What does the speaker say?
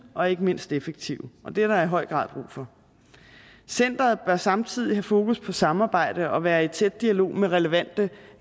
og ikke mindst effektive og det er der i høj grad brug for centeret bør samtidig have fokus på samarbejde og være i tæt dialog med relevante